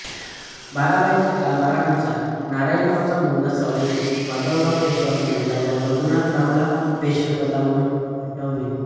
बाराभाईच्या कारभारानुसार नारायणरावचा मुलगा सवाई माधवराव पेशवा बनला व रघुनाथरावला पेशवे पदावरुन हटवले